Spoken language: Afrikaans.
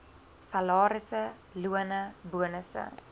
salarisse lone bonusse